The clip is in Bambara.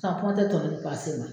kuma tɛ tɔnɔ ni pase ma